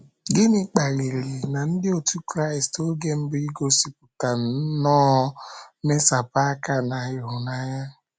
Gịnị kpaliri na ndị otú Kraịst oge mbụ igosipụta nnọọ mmesapụ aka na ịhụnanya?